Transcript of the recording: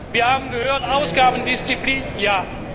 Wir haben gehört Ausgabendisziplin, ja.